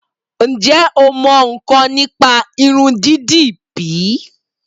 Ǹjẹ o mọ ńǹkan nípa Irun dídì bíí?